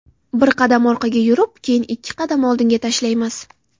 Bir qadam orqaga yurib, keyin ikki qadam oldinga tashlaymiz.